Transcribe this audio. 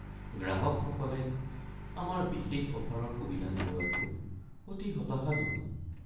গ্ৰাহকসকলে আমাৰ বিশেষ অফাৰৰ সুবিধা নোলোৱাটো অতি হতাশাজনক।